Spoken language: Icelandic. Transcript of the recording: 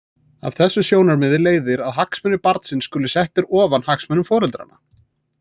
Af þessu sjónarmiði leiðir að hagsmunir barnsins skulu settir ofar hagsmunum foreldranna.